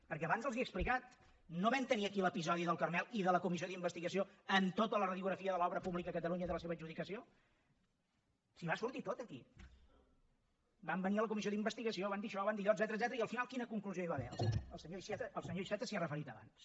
perquè abans els ho he explicat no vam tenir aquí l’episodi del carmel i de la comissió d’investigació amb tota la radiografia de l’obra pública a catalunya i de la seva adjudicació si va sortir tot aquí van venir a la comissió d’investigació van dir això van dir allò etcètera i al final quina conclusió hi va haver el senyor iceta s’hi ha referit abans